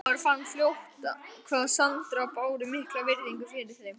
Maður fann fljótt hvað Sandarar báru mikla virðingu fyrir þeim.